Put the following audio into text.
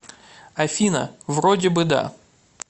афина вроде бы да